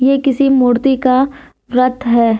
ये किसी मूर्ति का व्रत है।